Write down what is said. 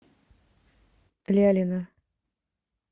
лялина